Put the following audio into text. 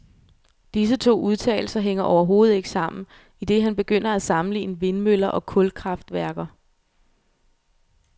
Disse to udtalelser hænger overhovedet ikke sammen, idet han begynder at sammenligne vindmøller og kulkraftværker.